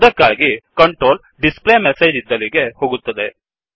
ಅದಕ್ಕಾಗಿ ಕಂಟ್ರೋಲ್ displayMessageಡಿಸ್ ಪ್ಲೇ ಮೆಸೇಜ್ ಇದ್ದಲಿಗೆ ಹೋಗುತ್ತದೆ